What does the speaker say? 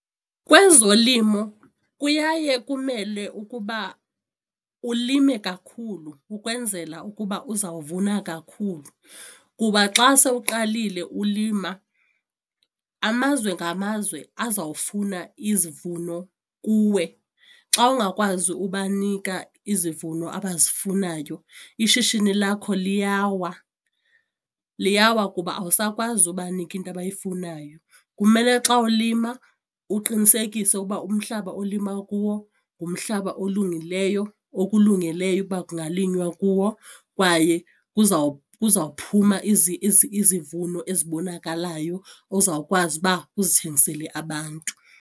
Kwezolimo kuyaye kumele ukuba ulime kakhulu ukwenzela ukuba uzawuvuna kakhulu kuba xa sowuqalile ulima amazwe ngamazwe azawufuna izivuno kuwe. Xa ungakwazi ubanika izivuno abazifunayo ishishini lakho liyawa, liyawa kuba awusakwazi ubanika into abayifunayo. Kumele xa ulima uqinisekise ukuba umhlaba olima kuwo ngumhlaba olungileyo, okulungeleyo uba kungalinywa kuwo kwaye kuzawuphuma izivuno ezibonakalayo ozawukwazi uba uzithengisele abantu.